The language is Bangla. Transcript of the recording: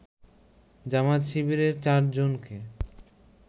জামায়াত-শিবিরের ৪ জনকে